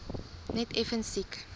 net effens siek